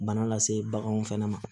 Bana lase baganw fɛnɛ ma